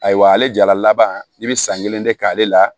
Ayiwa ale jala laban i bi san kelen de k'ale la